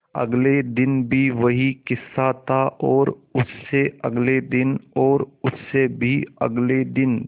अगले दिन भी वही किस्सा था और उससे अगले दिन और उससे भी अगले दिन